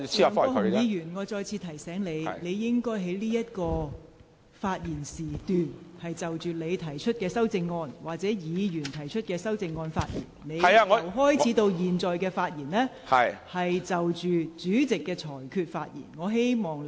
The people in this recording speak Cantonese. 梁國雄議員，我再次提醒你，你現在應就你或其他議員提出的修正案發言，但你由開始發言至今，一直就主席的裁決發表議論。